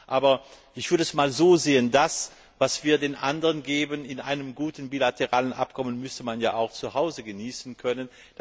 Aber ich würde es einmal so sehen Das, was wir den anderen in einem guten bilateralen Abkommen geben, müsste man ja auch zu Hause genießen können.